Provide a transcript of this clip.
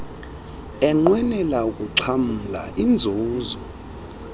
enqwenela ukuxhamla iinzuzo